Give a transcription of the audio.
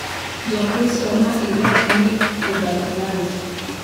Jokristo ma Iraq ‘ni e bath lal’